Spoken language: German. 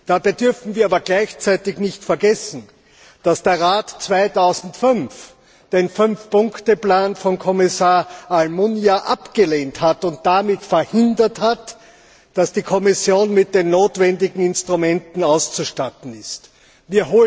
Dabei dürfen wir gleichzeitig nicht vergessen, dass der Rat 2005 den Fünfpunkteplan von Kommissar Almunia abgelehnt und damit verhindert hat, dass die Kommission mit den notwendigen Instrumenten ausgestattet wurde.